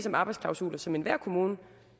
om arbejdsklausuler som enhver kommune